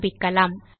ஆரம்பிக்கலாம்